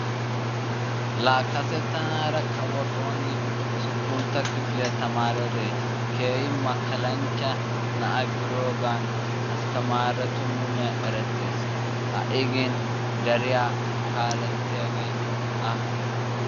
laa kase tanaara kawo xooni usuppunta kifiliya tamariyode keehin makalanchcha na'a gidoogan astamaaretu muliyan erettees. ha'i gin deriya kaaletiyage a.